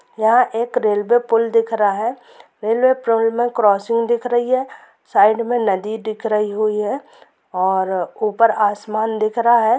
यहाँ एक रेलवे पूल दिख रहा है रेलवे पूल मे क्रॉसिंग दिख रही है साइड मे नदी दिख रही हुई है और ऊपर आसमान दिख रहा है।